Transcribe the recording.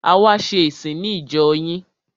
A wá ṣe ìsìn ní ìjọ yín.